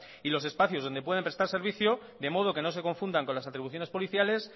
y los espacios donde pueden prestar servicio de modo que no se confundan con las atribuciones policiales